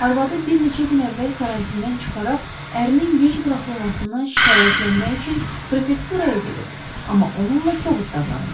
Arvadı bir neçə gün əvvəl karantindən çıxaraq ərinin gec buraxılmasından şikayətlənmək üçün prefekturaya gedib, amma onunla kobud davranıblar.